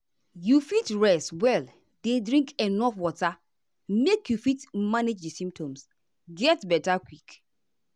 you fit rest well dey drink enuf water make you fit manage di symptoms get beta quick.